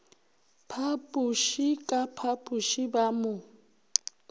phapoše ka phapoše ba mo